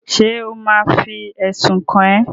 Ṣé ò ma fi ẹ̀sùn kàn ẹ́?